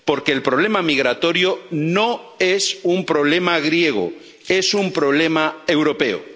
Porque el problema migratorio no es un problema griego, es un problema europeo.